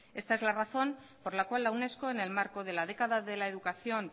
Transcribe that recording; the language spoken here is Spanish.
esta es la razón por la cual la unesco en el marco de la década de la educación